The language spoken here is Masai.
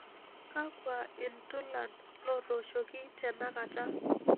Kakwa iltulan lootoshoki tenakata